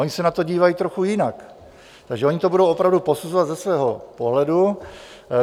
Ony se na to dívají trochu jinak, takže ony to budou opravdu posuzovat ze svého pohledu.